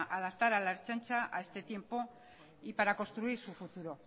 adaptar a la ertzaintza a este tiempo y para construir su futuro